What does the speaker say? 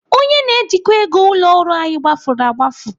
Onye na-ejikwa ego ụlọ ọrụ anyị gbafuru agbafu.